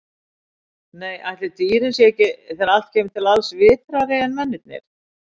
Nei, ætli dýrin séu ekki, þegar allt kemur til alls, vitrari en mennirnir.